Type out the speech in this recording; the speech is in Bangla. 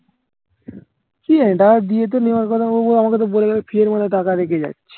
ঠিকাছে দিয়েতো নেওয়ার কথা ও আমাকে বলে গেলো ফ্রিজেরমাথায় টাকা রেখে যাচ্ছি